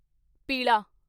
ਪੀਲਾ